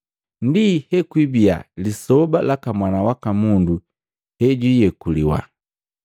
Ndi hekwibia lisoba laka Mwana waka Mundu hejwiiyekuliwa.